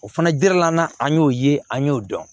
O fana jirila n'an y'o ye an y'o dɔn